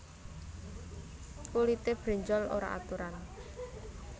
Kulité brenjol ora aturan